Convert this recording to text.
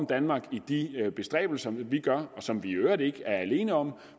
danmark i de bestræbelser vi gør og som vi i øvrigt ikke er alene om og